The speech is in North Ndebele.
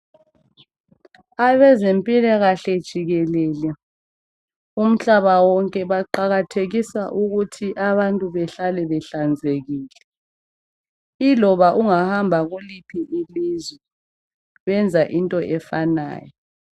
Abezempilakahle jikekele, umhlaba wonke. Baqakathekisa ukuthi abantu behlale behlanzekile. Iloba ungahamba kuliphi ilizwe. Benza into efanayo.